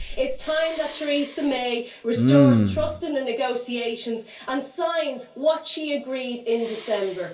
It is time that Theresa May restores trust in the negotiations and signs what she agreed in December.